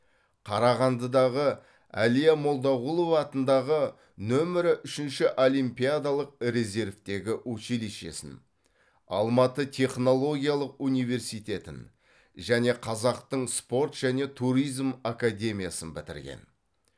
қарағандыдағы әлия молдағұлова атындағы нөмірі үшінші олимпиадалық резервтегі училищесін алматы технологиялық университетін және қазақтың спорт және туризм академиясын бітірген